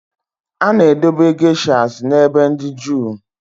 A na-edobe geishas n'ebe dị jụụ